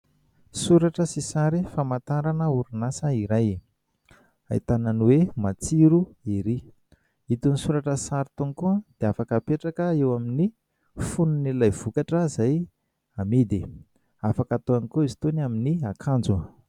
Soratra sy sary famantarana orin'asa iray. Ahitana ny hoe : Matsiro ery. Itony soratra sy sary itony koa dia afaka apetraka eo amin'ny fonon'ilay vokatra izay amidy. Afaka atao ihany koa izy itony amin'ny akanjo.